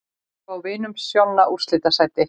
Spá Vinum Sjonna úrslitasæti